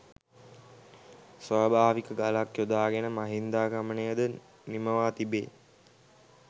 ස්වභාවික ගලක් යොදාගෙන මහින්දාගමනයද නිමවා තිබේ.